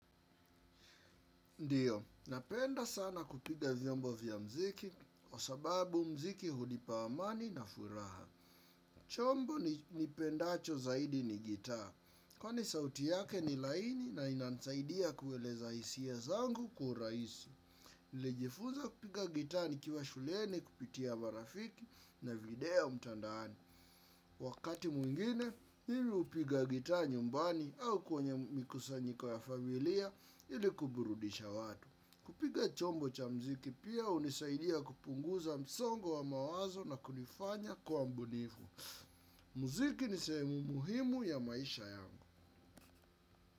Ndiyo, napenda sana kupiga vyombo vya mziki, kwa sababu mziki hunipa amani na furaha. Chombo nipendacho zaidi ni gita. Kwani sauti yake ni laini, na inanisaidia kueleza hisia zangu kwa urahisi. Nlijifunza kupiga gita nikiwa shulieni, kupitia marafiki na video mtandaoni. Wakati mwingine, mimi hupiga gita nyumbani au kwenye mikusanyiko ya familia ili kuburudisha watu. Kupiga chombo cha mziki pia unisaidia kupunguza msongo wa mawazo na kunifanya kuwa mbunifu. Mziki nisehemu muhimu ya maisha yangu.